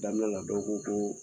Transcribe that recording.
Daminɛ la dɔw ko koo